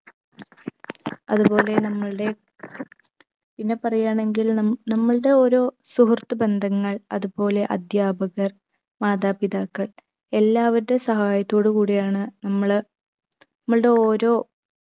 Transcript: അത്പോലെ നമ്മളുടെ പിന്നെ പറയാണെങ്കിൽ നം നമ്മൾടെ ഓരോ സുഹൃത്ത് ബന്ധങ്ങൾ അതുപോലെ അധ്യാപകർ മാതാപിതാക്കൾ എല്ലാവരുടെ സഹായത്തോടു കൂടിയാണ് നമ്മള് നമ്മൾടെ ഓരോ